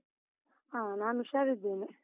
ಹ, ನಾನು ಹುಷಾರಿದ್ದೇನೆ.